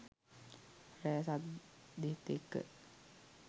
රැ සද්දෙත් එක්ක